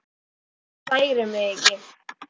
Svona særir mig ekki neitt.